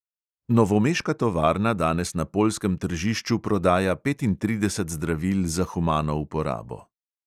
Novomeška tovarna danes na poljskem tržišču prodaja petintrideset zdravil za humano uporabo.